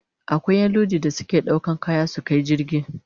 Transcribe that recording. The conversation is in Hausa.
Akwai Ƴan Lodi da su suke ɗaukan kaya su Kai cikin jirgi